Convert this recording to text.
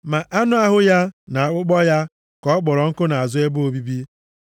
Ma anụ ahụ ya, na akpụkpọ ya, ka ọ kpọrọ ọkụ nʼazụ ebe obibi.